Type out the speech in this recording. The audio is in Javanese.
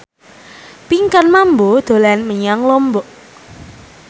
Pinkan Mambo dolan menyang Lombok